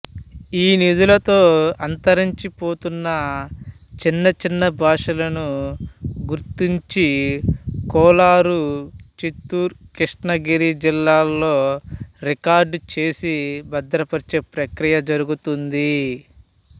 ఈ నిధులతో అంతరించిపోతున్న చిన్నచిన్న భాషలను గుర్తించి కోలారు చిత్తూరు కృష్ణగిరి జిల్లాల్లో రికార్డు చేసి భద్రపరిచే ప్రక్రియ జరుగుతోంది